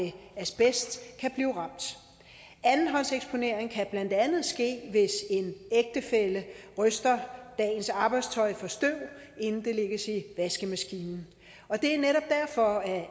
asbest kan blive ramt andenhåndseksponering kan blandt andet ske hvis en ægtefælle ryster dagens arbejdstøj for støv inden det lægges i vaskemaskinen og det er netop derfor at